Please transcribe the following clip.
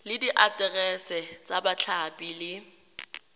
le diaterese tsa bathapi le